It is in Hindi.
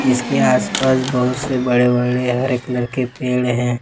इसके आसपास बहुत से बड़े बड़े हरे कलर के पेड़ हैं।